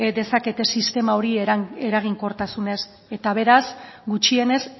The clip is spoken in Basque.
dezakete sistema hori eraginkortasunez eta beraz gutxienez